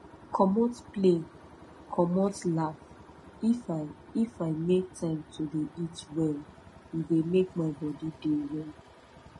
commot play commmot laugh if i if i make time to dey eat well e dey make my bodi dey well